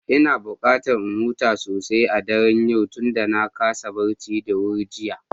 Ina buƙatar in huta sosai a daren yau tunda na kasa barci da wuri jiya.